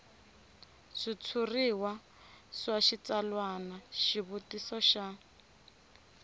switshuriwa swa switsalwana xivutiso xa